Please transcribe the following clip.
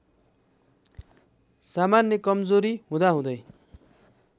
सामान्य कमजोरी हुँदाहुँदै